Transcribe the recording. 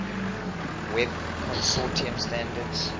web consortium standards